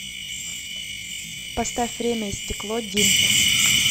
поставь время и стекло дим